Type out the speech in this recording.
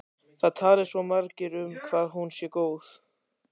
Það tali svo margir um hvað hún sé góð.